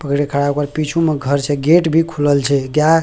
पकड़ के खड़ा ओकर पिचू म घर छे गेट भी खुलल छे गाय --